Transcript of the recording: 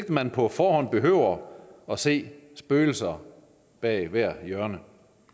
at man på forhånd behøver at se spøgelser bag hvert hjørne